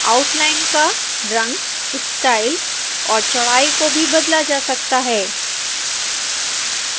outline का रंग style और चौड़ाई को भी बदला जा सकता है